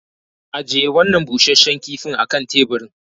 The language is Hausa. Ajiye wannan busasshen kifin a kan teburin.